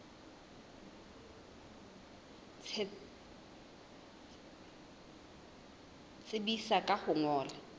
tsebisa ka ho o ngolla